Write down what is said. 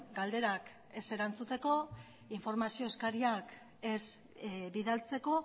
galderak ez erantzutek informazio eskariak ez bidaltzeko